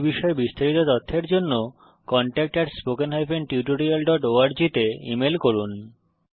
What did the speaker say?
এই বিষয়ে বিস্তারিত তথ্যের জন্য contactspoken tutorialorg তে ইমেল করুন